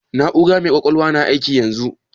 Na'ura mai ƙwaƙwalwan na aiki yanzu?